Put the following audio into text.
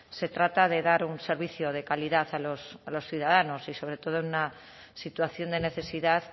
se trata de dar un servicio de calidad a los ciudadanos y sobre todo en una situación de necesidad